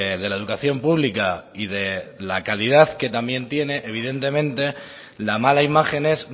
de la educación pública y de la calidad que también tiene evidentemente la mala imagen es